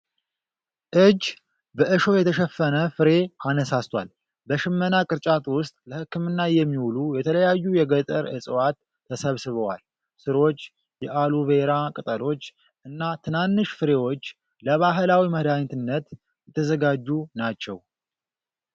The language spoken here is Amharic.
እጅ በእሾህ የተሸፈነ ፍሬ አነሳስቷል። በሽመና ቅርጫት ውስጥ ለህክምና የሚውሉ የተለያዩ የገጠር እፅዋት ተሰብስበዋል። ሥሮች፣ የአሎ ቬራ ቅጠሎች፣ እና ትናንሽ ፍሬዎች ለባህላዊ መድሃኒትነት የተዘጋጁ ናቸው።